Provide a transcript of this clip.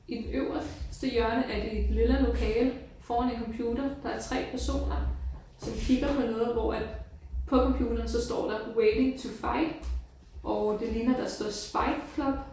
I den øveste hjørne af det lilla lokale foran en computer der er 3 personer som kigger på noget hvor at på computeren så står der waiting to fight og det ligner der står spite club